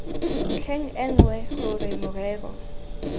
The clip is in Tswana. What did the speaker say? ntlheng e nngwe gore morero